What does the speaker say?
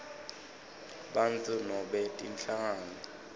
bantfu nobe tinhlangano